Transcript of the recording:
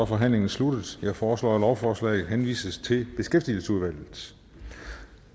forhandlingen sluttet jeg foreslår at lovforslaget henvises til beskæftigelsesudvalget